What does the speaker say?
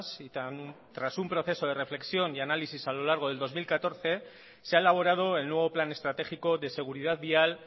y tras un proceso de reflexión y análisis a lo largo del dos mil catorce se ha elaborado el nuevo plan estratégico de seguridad vial